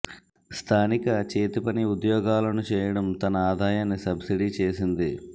స్థానిక చేతి పని ఉద్యోగాలను చేయడం తన ఆదాయాన్ని సబ్సిడీ చేసింది